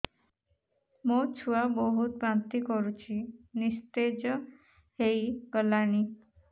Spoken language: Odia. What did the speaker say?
ମୋ ଛୁଆ ବହୁତ୍ ବାନ୍ତି କରୁଛି ନିସ୍ତେଜ ହେଇ ଗଲାନି